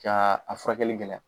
Ka a furakɛli gɛlɛya